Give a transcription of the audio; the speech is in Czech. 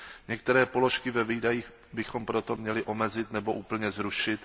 Některé položky ve výdajích bychom proto měli omezit nebo úplně zrušit.